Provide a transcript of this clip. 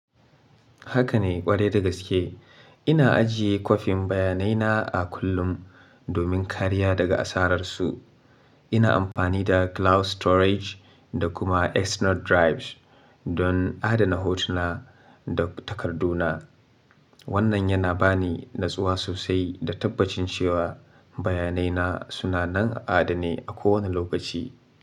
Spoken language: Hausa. Haka ne ƙwarai da gaske. Ina ajiye kwafin bayanai na a kullum domin kariya daga asararsu. Ina amfani da cloud storage da kuma external drives don adana hotuna da takarduna. Wannan yana ba ni natsuwa sosai da tabbacin cewa bayanai na suna nan a adane a kowane lokaci.